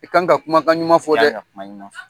I kan ka kumakan ɲuman fɔ dɛ!